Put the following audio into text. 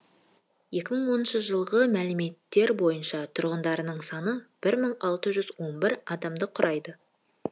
екі мың оныншы жылғы мәліметтер бойынша тұрғындарының саны бір мың алты жүз он бір адамды құрайды